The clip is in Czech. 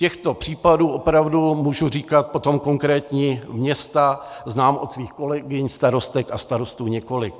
Těchto případů opravdu, můžu říkat potom konkrétní města, znám od svých kolegyň starostek a starostů několik.